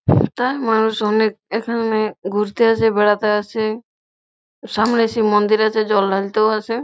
তা মানুষ অনেক এখানে ঘুরতে আসে বেড়াতে আসে সামনে শিব মন্দির আছে জল ঢালতেও আসে।